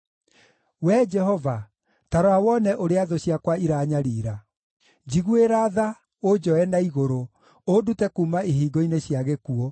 Wee Jehova, ta rora wone ũrĩa thũ ciakwa iranyariira! Njiguĩra tha, ũnjoe na igũrũ, ũndute kuuma ihingo-inĩ cia gĩkuũ,